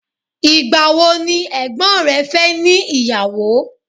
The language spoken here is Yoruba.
igbawo ni ègbón rẹ fe ni iyawo